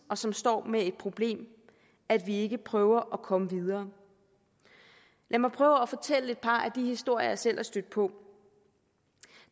og som står med det problem at vi ikke prøver at komme videre lad mig prøve at fortælle et par af de historier jeg selv er stødt på